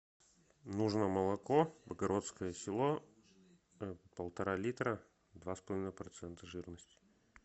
нужно молоко богородское село полтора литра два с половиной процента жирности